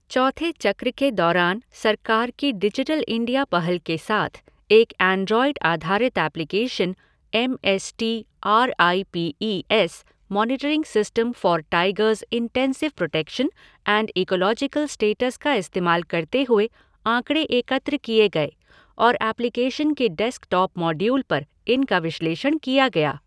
चौथे चक्र के दौरान सरकार की डिजिटल इंडिया पहल के साथ, एक एन्ड्रॉयड आधारित application, M S T R I P E S monitoring system for tigers intensive protection and ecological status का इस्तेमाल करते हुए आंकड़े एकत्र किए गए और एप्लीकेशन के डेस्कटॉप मॉडयूल पर इनका विश्लेषण किया गया।